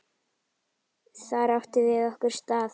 Þar áttum við okkar stað.